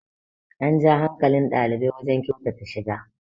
an ja hankalin ɗalibai wajen kyautata shiga